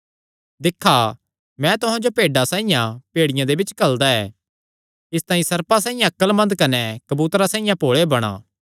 दिक्खा मैं तुहां जो भेड्डां साइआं भेड़ियां दे बिच्च घल्लदा ऐ इसतांई सर्पां साइआं अक्लमंद कने कबूतरां साइआं भोल़े बणा